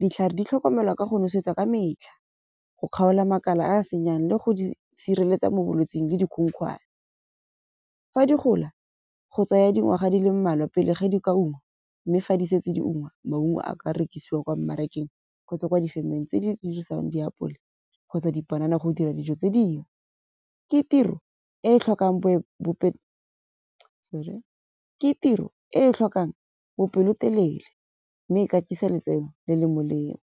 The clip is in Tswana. Ditlhare di tlhokomelwa ka go nosetsa ka metlha go kgaola makala a senyang le go di sireletsa mo bolwetsing le dikhukhwane. Fa di gola go tsaya dingwaga di le mmalwa pele ge di kwa ungwa. Mme fa di setse di unngwe, maungo a ka rekisiwa kwa mmarakeng kgotsa ko difemeng tse di dirisang diapole kgotsa dipanana go dira dijo tse dingwe. Ke tiro e e tlhokang bo . Ke tiro e tlhokang bopelotelele mme e .